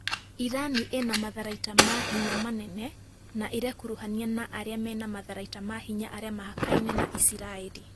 Irani ĩna matharaita ma hinya manene na ĩrekuruhania na arĩa mena matharaita ma hinya arĩa mahakaine na Isiraĩri